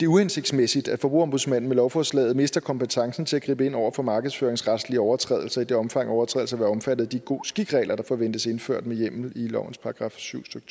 uhensigtsmæssigt at forbrugerombudsmanden med lovforslaget mister kompetencen til at gribe ind over for markedsføringsretslige overtrædelser i det omfang overtrædelser vil være omfattet af de god skik regler der forventes indført med hjemmel i lovens § syv stykke